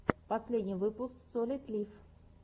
последний выпуск солид лив